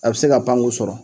A bɛ se ka pan k'u sɔrɔ